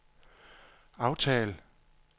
aftal